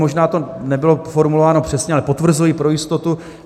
Možná to nebylo formulováno přesně, ale potvrzuji pro jistotu.